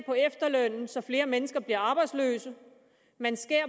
på efterlønnen så flere mennesker bliver arbejdsløse at man skærer